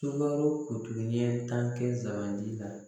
Sunkalo ɲɛ tan kɛ zanbanandi la